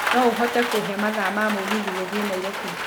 no ũhote kũhe mathaa ma mũgithi gũthiĩ nairobi